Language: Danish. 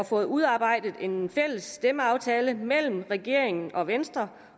fået udarbejdet en fælles stemmeaftale mellem regeringen og venstre